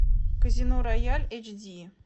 казино рояль эйч ди